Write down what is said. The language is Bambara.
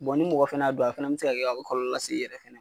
ni mɔgɔ fɛnɛ y'a dun a fɛnɛ bi se ka kɛ ka kɔlɔlɔ lase i yɛrɛ fɛnɛ